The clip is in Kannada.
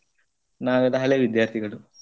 ನಾವೆಲ್ಲಾ ಹಳೆ ವಿದ್ಯಾರ್ಥಿಗಳು.